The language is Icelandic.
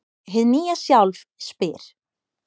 Hið nýja sjálf spyr: